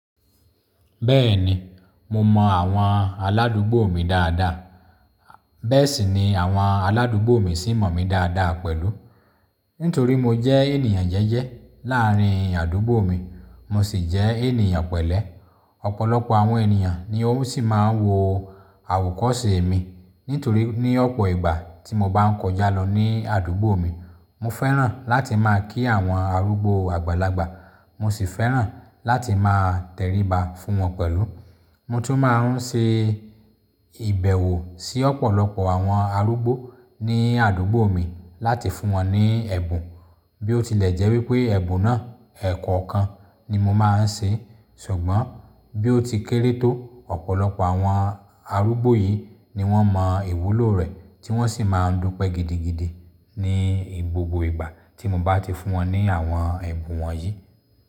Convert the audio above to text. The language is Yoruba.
Bẹ́ẹ̀ni, mo mọ àwọn aládùúgbò mi dáadáa, bẹ́ẹ̀ sì ni àwọn aládùúgbò mi sì mọ̀ mí dáadáa pẹ̀lú. Nítorí mo jẹ́ ènìyàn jẹ́jẹ́ láàrín àdúgbò mi, mo sì jẹ́ ènìyàn pẹ̀lẹ́. Ọ̀pọ̀lọpọ̀ àwọn ènìyàn ni o sì máa ń wo àwokọ́ṣe mi nítorí ní ọ̀pọ̀ ìgbà tí mo bá ń kọjá lọ ní àdúgbò mi, mo fẹ́ràn láti máa kí àwọn arúgbó àgbàlagbà, mo sì fẹ́ràn láti máa tẹríba fún wọn pẹ̀lú. Mo tún máa ń ṣe ìbẹ̀wò sí ọ̀pọ̀lọpọ̀ àwọn arúgbó ní àdúgbò mi láti fún wọn ní ẹ̀bùn. Bí ó tilẹ̀ jẹ́ wípé ẹ̀bùn náà ẹ̀kọokan ni mo máa ń ṣe, ṣùgbọ́n bí ó ti kéré tó, ọ̀pọ̀lọpọ̀ àwọn arúgbó yìí ni wọ́n mọ ìwúlò rẹ̀ tí wọ́n sì máa ń dúpẹ́ gidigidi ní igbogbo ìgbà tí mo bá ti fún wọn ní àwọn ẹ̀bùn wọnyìí.